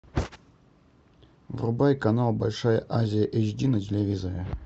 врубай канал большая азия эйч ди на телевизоре